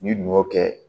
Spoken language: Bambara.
N'i dun y'o kɛ